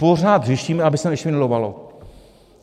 Pořád řešíme, aby se nešvindlovalo.